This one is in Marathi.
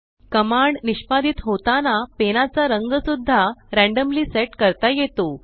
कमांड निष्पादीत होताना पेनाचा रंग सुद्धा रॅंडम्ली सेट करता येतो